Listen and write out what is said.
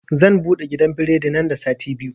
Zan buɗe gidan biredi nan da sati biyu